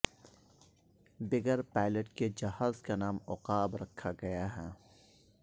بغیر پائلٹ کے جہاز کا نام عقاب رکھا گیا ہے